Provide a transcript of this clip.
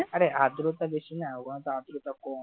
আরে আদ্রতা বেশি না ওখানে আদ্রতা কম।